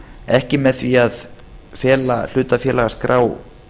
ekki með því að fela hlutafélagaskrá